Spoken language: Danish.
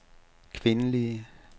kvindelige